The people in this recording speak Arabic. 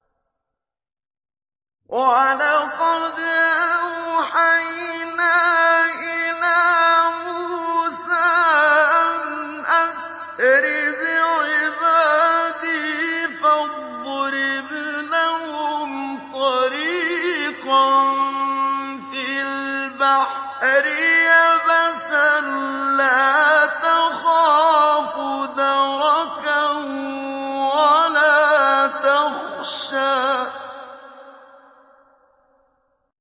وَلَقَدْ أَوْحَيْنَا إِلَىٰ مُوسَىٰ أَنْ أَسْرِ بِعِبَادِي فَاضْرِبْ لَهُمْ طَرِيقًا فِي الْبَحْرِ يَبَسًا لَّا تَخَافُ دَرَكًا وَلَا تَخْشَىٰ